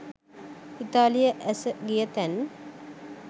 ඉතාලියේ ඇස ගිය තැන්